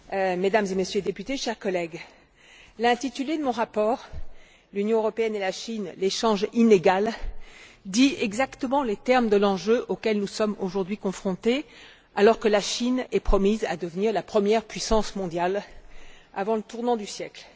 Monsieur le Président, Mesdames et Messieurs les députés, chers collègues, l'intitulé de mon rapport, L'Union européenne et la Chine, l'échange inégal, dit exactement les termes de l'enjeu auquel nous sommes aujourd'hui confrontés, alors que la Chine est promise à devenir la première puissance mondiale avant le tournant du siècle.